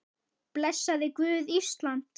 Blessaði Guð Ísland?